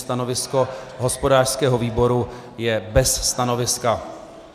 Stanovisko hospodářského výboru je bez stanoviska.